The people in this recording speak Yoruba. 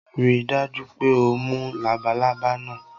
Rii daju pe o mu labalaba naa